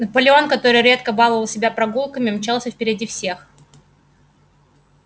наполеон который редко баловал себя прогулками мчался впереди всех